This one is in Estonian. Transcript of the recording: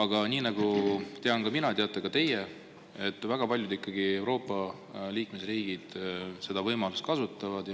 Ja nii nagu tean mina, teate ka teie, et väga paljud Euroopa liikmesriigid seda võimalust kasutavad.